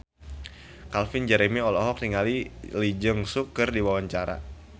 Calvin Jeremy olohok ningali Lee Jeong Suk keur diwawancara